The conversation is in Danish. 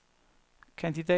kandidat